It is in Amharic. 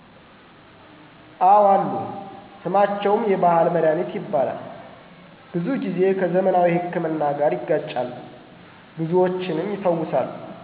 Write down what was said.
አወ አሉ ስማቸውም የባሕል መድኃኒት ይባላል ብዙ ጊዜ ከዘመናዊ ሕክምና ጋር ይጋጫሉ ብዙዎችንም ይፈውሳሉ።